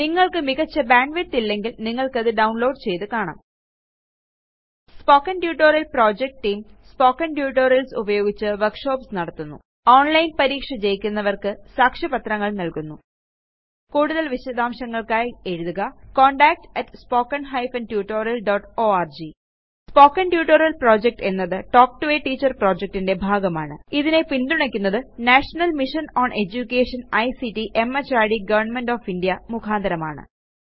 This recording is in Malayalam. നിങ്ങൾക്ക് മികച്ച ബാൻഡ്വിഡ്ത്ത് ഇല്ലെങ്കിൽ നിങ്ങൾക്കത് ഡൌണ്ലോഡ് ചെയ്ത് കാണാം spoken tutorial project team spoken tutorials ഉപയോഗിച്ച് വർക്ഷോപ്പ്സ് നടത്തുന്നു ഓണ്ലൈൻ പരീക്ഷ ജയിക്കുന്നവർക്ക് സാക്ഷ്യപത്രങ്ങൾ നൽകുന്നു കൂടുതൽ വിശദാംശങ്ങൾക്കായി എഴുതുക contactspoken tutorialorg spoken tutorial project എന്നത് തൽക്ക് ടോ a ടീച്ചർ projectന്റെ ഭാഗമാണ് ഇതിനെ പിന്തുണയ്ക്കുന്നത് national mission on education ICT MHRD government of India മുഖാന്തരമാണ്